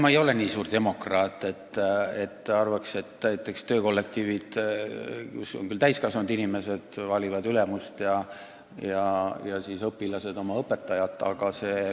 Ma ei ole nii suur demokraat, et arvaks, et töökollektiivid, kus on küll täiskasvanud inimesed, võiksid valida oma ülemusi ja õpilased oma õpetajaid.